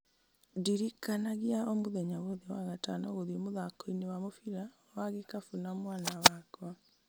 ndirikanagia o mũthenya wothe wa gatano gũthiĩ mũthako-inĩ wa mũbira wa gĩkabu na mwana wakwa